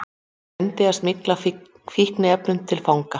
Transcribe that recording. Reyndi að smygla fíkniefnum til fanga